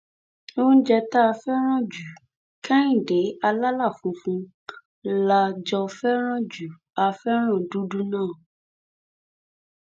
oúnjẹ tá a fẹràn ju kẹhìndẹ àlàlà funfun la jọ fẹràn jù á fẹràn dúdú náà